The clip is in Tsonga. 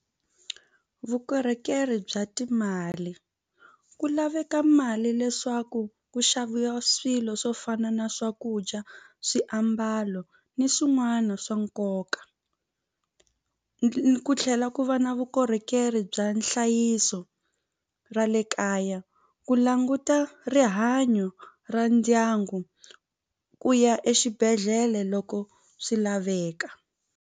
Vukorhokeri bya timali ku laveka mali leswaku ku xavisa swilo swo fana na swakudya swiambalo ni swin'wana swa nkoka ku tlhela ku va na vukorhokeri bya nhlayiso ra le kaya ku languta rihanyo ra ndyangu ku ya exibedhlele loko swi laveka.